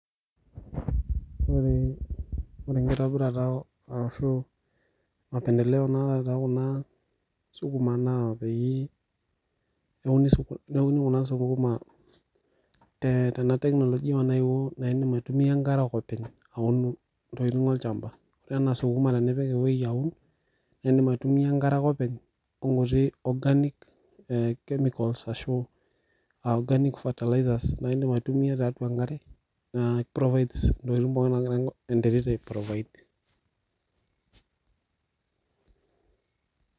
Ore enkitobirata ashu mapendeleo naata tookuna sukuma naa pee, euni neuni kuna sukuma tena teknolijia naewo naidim aitumia enkare ake openy aun intokin olchamba enaa isukuma tenipik eweji aun naidim aitumia enkare ake openy onkuti cs[organic chemicals]cs ashu aa cs[organic fertilizers]cs naidim aitumia tiatua enkare naa keiprovaid intokitin pookin naagira enterit aiprovaid.